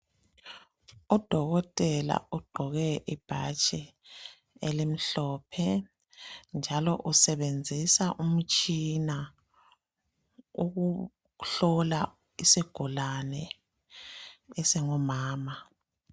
Udokotela ugqoke Ibhatshi elimhlophe njalo usebenzisa umtshina ukuhlola isigulane esingumama.